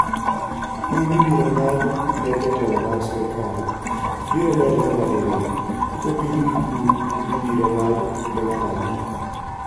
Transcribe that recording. Kum mibiro ng'ad ne jotelo mag sirkal biro medore nyadiriyo kopim gi kum mibiro ng'ad ne ng'ato ang'ata.